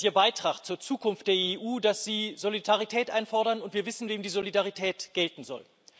Das ist Ihr Beitrag zur Zukunft der EU, dass Sie Solidarität einfordern, und wir wissen, wem die Solidarität gelten soll.